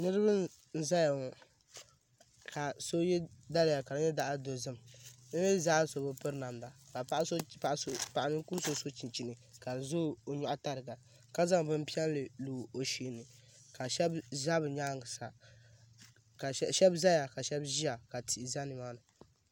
Niraba n ʒɛya ŋɔ ka so yɛ daliya ka di nyɛ zaɣ'dozim bi mii zaa so bi piri namda ka paɣa ninkuri so so chinchini ka di ʒɛ o nyuɣu tariga ka zaŋ bin piɛlli n lo o shee ka shaba ʒɛ bi nyaanga sa ka shaba ʒiya ka tihi ʒɛ nimaani